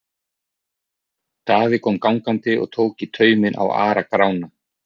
Daði kom gangandi og tók í tauminn á Ara-Grána.